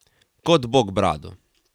Kot bog brado.